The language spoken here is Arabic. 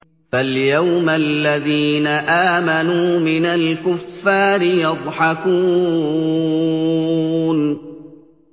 فَالْيَوْمَ الَّذِينَ آمَنُوا مِنَ الْكُفَّارِ يَضْحَكُونَ